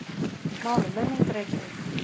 Mál og menning, Reykjavík.